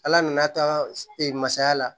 Ala nana a taa e ma saya la